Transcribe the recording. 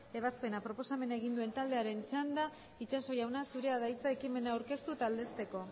ebazpena proposamena egin duen taldearen txanda itxaso jauna zurea da hitza ekimena aurkeztu eta aldezteko